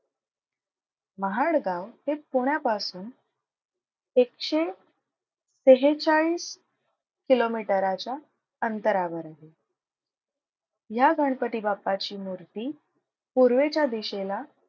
महाड गाव हे पुण्यापासून एकशे सेहेचाळीस किलोमीटराच्या अंतरावर आहे. ह्या गणपती बाप्पाची मूर्ती पूर्वेच्या दिशेला,